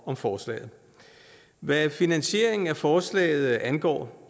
om forslaget hvad finansieringen af forslaget angår